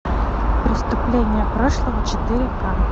преступление прошлого четыре ка